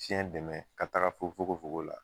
dɛmɛ ka taga fo fogo fogo la.